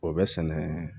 O bɛ sɛnɛ